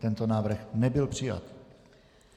Tento návrh nebyl přijat.